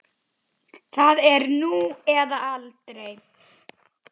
Það er nú eða aldrei.